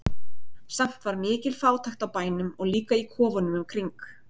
Samt var mikil fátækt á bænum og líka í kofunum í kring.